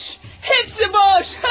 Hamısı boş.